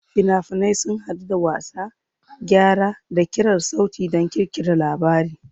Fina-finai sun haɗu da wasa, gyara, da ƙirar sauti don ƙirƙirar labari.